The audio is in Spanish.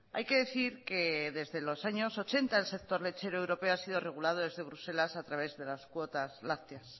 hay que decir que desde los años ochenta el sector lechero europeo ha sido regulado desde bruselas a través de las cuotas lácteas